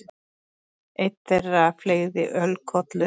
Einn þeirra fleygði ölkollu.